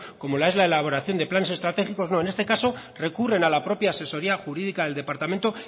como es la elaboración de planes estratégicos no en este caso recurren a la propia asesoría jurídica del departamento